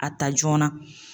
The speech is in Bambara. A ta joona.